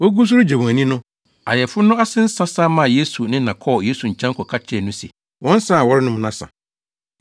Wogu so regye wɔn ani no, ayeforo no ase nsa sa maa Yesu ne na kɔɔ Yesu nkyɛn kɔka kyerɛɛ no se, “Wɔn nsa a wɔrenom no asa.”